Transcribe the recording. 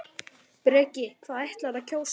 Breki: Hvað ætlarðu að kjósa?